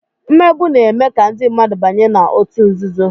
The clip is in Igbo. mmegbu na-eme ka ndị mmadụ banye na ọtu nzuzo.